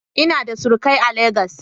Ina da surukai a Legas.